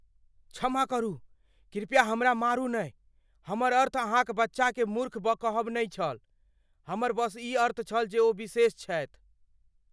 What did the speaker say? क्षमा करू, कृपया हमरा मारू नहि । हमर अर्थ अहाँक बच्चाकेँ मूर्ख कहब नहि छल। हमर बस ई अर्थ छल जे ओ विशेष छथि।